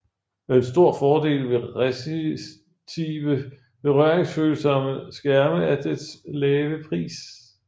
En stor fordel ved resistive berøringsfølsomme skærme er dets lave pris